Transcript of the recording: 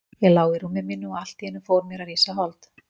Ég lá í rúmi mínu og allt í einu fór mér að rísa hold.